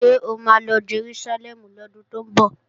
Ṣé o ma lọ Jerúsálẹ́mù lọ́dún tó ń bọ̀?